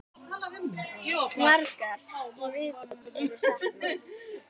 Margra í viðbót var saknað.